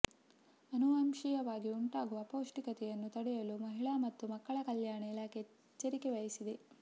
ಆನುವಂಶೀಯವಾಗಿ ಉಂಟಾಗುವ ಅಪೌಷ್ಟಿಕತೆಯನ್ನು ತಡೆಯಲು ಮಹಿಳಾ ಮತ್ತು ಮಕ್ಕಳ ಕಲ್ಯಾಣ ಇಲಾಖೆ ಎಚ್ಚರಿಕೆ ವಹಿಸಿದೆ